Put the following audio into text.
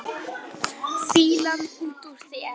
Fýlan út úr þér!